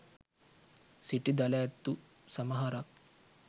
සිටි දළ ඇත්තු සමහරක්